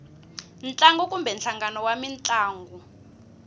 ntlangu kumbe nhlangano wa mintlangu